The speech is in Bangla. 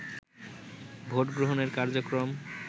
ভোট গ্রহণের কার্যক্রম